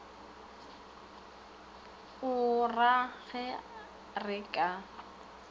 o ra ge re ka